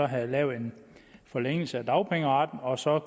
havde lavet en forlængelse af dagpengeretten og så